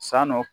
San nɔ